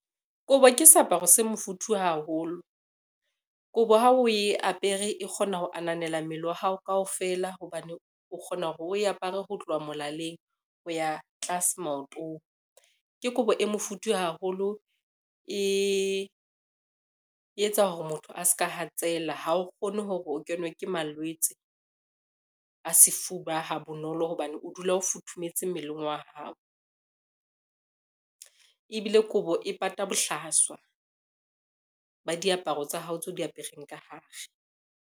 Kobo ke seaparo se mofuthu haholo. Kobo ha o ye apere e kgona ho ananela mmele wa hao kaofela hobane o kgona hore o apare ho tloha molaleng ho ya tlase maotong. Ke kobo e mofuthu haholo e etsa hore motho a ska hatsela ha o kgone hore o kenwe ke malwetse a sefuba ha bonolo, hobane o dula o futhumetse mmeleng wa hao. Ebile kobo e pata bohlaswa ba diaparo tsa hao tseo di apereng ka hare.